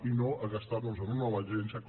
i no a gastar los en una nova agència com